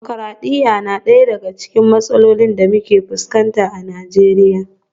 Dimokradiyya na daya daga cikin matsalolin da muke fuskanta a Najeriya